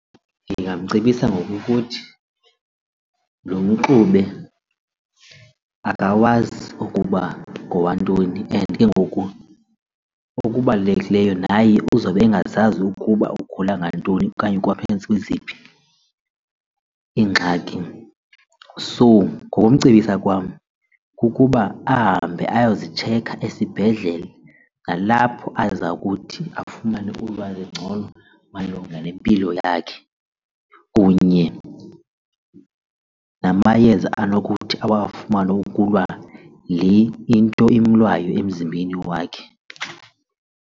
Ndingamcebisa ngokokuthi lo mxube akawazi ukuba ngowantoni and ke ngoku okubalulekileyo naye uzobe engazazi ukuba ugula ngantoni okanye kwaphantsi kweziphi iingxaki. So, ngokumcebisa kwam kukuba ahambe ayozitshekha esibhedlele nalapho aza kuthi afumane ulwazi ngcono malunga nempilo yakhe kunye namayeza anokuthi awafumane ukulwa le into imlwayo emzimbeni wakhe.